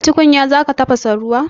A tukunya za ka tafasa ruwa?